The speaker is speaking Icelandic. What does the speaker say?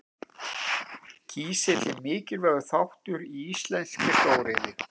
Kísill er mikilvægur þáttur í íslenskri stóriðju.